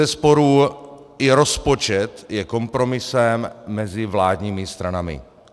Bezesporu i rozpočet je kompromisem mezi vládními stranami.